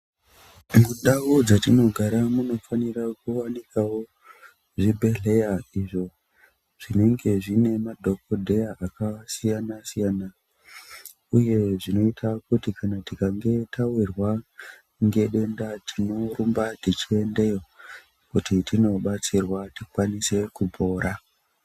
Mundau dzatinogara mufanira kuwanikawo zvibhedhlera izvo zvinenge zvine madhokodheya akasiyana siyana uye zvinoita kuti kana tikange tahwirwa nedenda tinorumba tichiendeyo kuti tinobatsirwa tikwanise kupora.